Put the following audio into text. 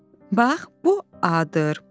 Bax, bu A-dır.